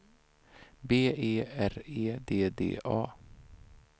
B E R E D D A